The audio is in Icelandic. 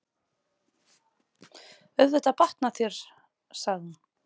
Auðvitað batnar þér, sagði hún.